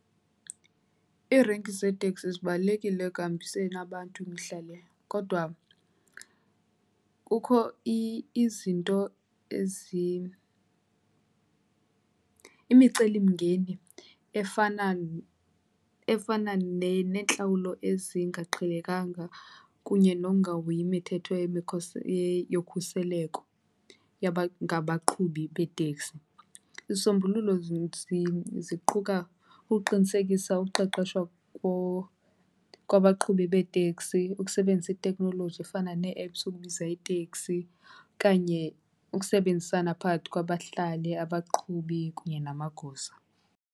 Iirenki zeeteksi zibalulekile ekuhambiseni abantu mihla le, kodwa kukho izinto imicelimngeni efana, efana neentlawulo ezingaqhelekanga kunye nokungahoyi imithetho yokhuseleko ngabaqhubi beeteksi. Izisombululo ziquka ukuqinisekisa uqeqesho kwabaqhubi beeteksi, ukusebenzisa itekhnoloji efana nee-apps ukubiza iiteksi okanye ukusebenzisana phakathi kwabahlali, abaqhubi kunye namagosa.